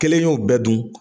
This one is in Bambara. Kelen y'o bɛ dun